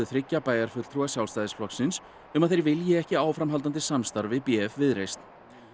þriggja bæjarfulltrúa Sjálfstæðisflokksins um að þeir vildu ekki áframhaldandi samstarf við b f Viðreisn